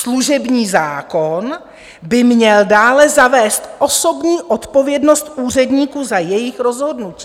Služební zákon by měl dále zavést osobní odpovědnost úředníků za jejich rozhodnutí.